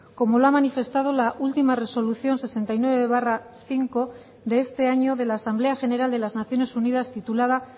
como lo ha manifestado la última resolución sesenta y nueve barra cinco de este año de la asamblea general de las naciones unidas titulada